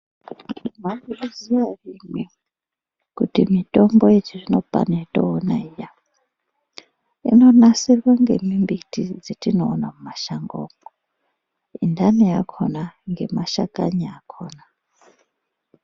Mwaizviziya ere imwimwi kuti mitombo yechizvino pano yationa iya inonasirwa ngemimbiti dzetinoona mumashango umwo inhani yakona ngemashakani akona.